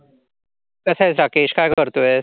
कसा आहेस राकेश, काय करतोयस?